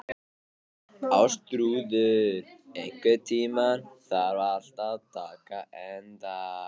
Ástþrúður, einhvern tímann þarf allt að taka enda.